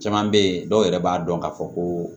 Caman bɛ yen dɔw yɛrɛ b'a dɔn k'a fɔ ko